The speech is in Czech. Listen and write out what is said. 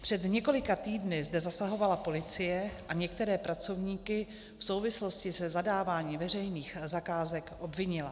Před několika týdny zde zasahovala policie a některé pracovníky v souvislosti se zadáváním veřejných zakázek obvinila.